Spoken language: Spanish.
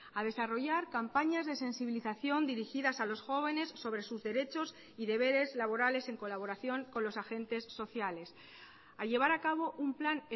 a desarrollar campañas de sensibilización dirigidas a los jóvenes sobre sus derechos y deberes laborales en colaboración con los agentes sociales a llevar a cabo un plan